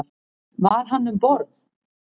Var hann um borð?